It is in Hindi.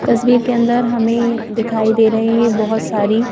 तस्वीर के अंदर हमें दिखाई दे रही है बहुत सारी--